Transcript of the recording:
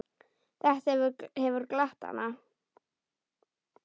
Þetta hefur glatt hana.